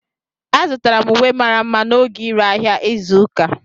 Azụtara m uwe mara mma n'oge ire ahịa izu ụka.